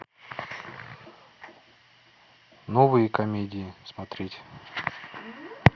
новые комедии смотреть